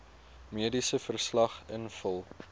mediese verslag invul